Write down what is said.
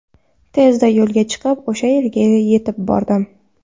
Tezda yo‘lga chiqib, o‘sha yerga yetib bordim.